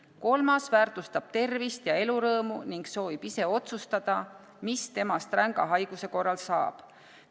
Kolmas väärtustab tervist ja elurõõmu ning soovib ise otsustada, mis temast ränga haiguse korral saab.